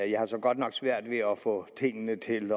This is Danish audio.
jeg har så godt nok svært ved at få tingene til